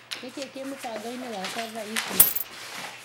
Nĩkĩĩ kĩ mũbango-inĩ wakwa thaa ici?